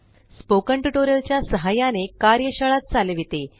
spoken tutorial च्या सहाय्याने कार्यशाळा चालविते